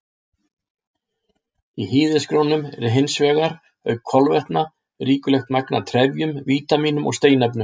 Í hýðishrísgrjónum er hins vegar, auk kolvetna, ríkulegt magn af trefjum, vítamínum og steinefnum.